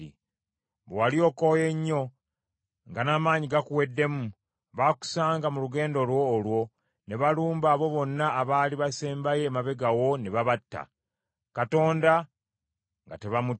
Bwe wali okooye nnyo nga n’amaanyi gakuweddemu, baakusanga mu lugendo lwo olwo, ne balumba abo bonna abaali basembyeyo emabega wo ne babatta; Katonda nga tebamutya.